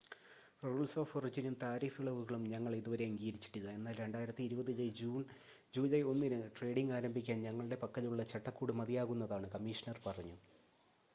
"""Rules of ഒറിജിനും tariff ഇളവുകളും ഞങ്ങൾ ഇതുവരെ അംഗീകരിച്ചിട്ടില്ല എന്നാൽ 2020 ജൂലൈ 1-ന് ട്രേഡിംഗ് ആരംഭിക്കാൻ ഞങ്ങളുടെ പക്കലുള്ള ചട്ടക്കൂട് മതിയാകുന്നതാണ്" കമ്മീഷണർ പറഞ്ഞു.